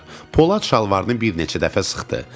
Polad şalvarını bir neçə dəfə sıxdı.